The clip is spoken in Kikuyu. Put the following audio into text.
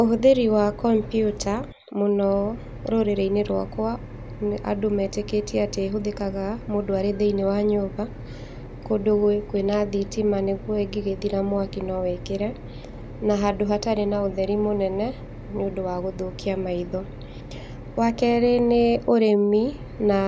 Ũhũthĩri wa kompuita mũno rũrĩrĩ-inĩ rwakwa, andũ metĩkĩtie atĩ ĩhũthĩkaga mũndũ arĩ thĩinĩ wa nyũmba, kũndũ gwĩ kwĩna thitima nĩguo ĩngĩgĩthira mwaki nwĩkĩre, na handũ hatarĩ na ũtheri mũnene nĩũndũ wa gũthokia maitho, wa kmerĩ nĩ ũrĩmi na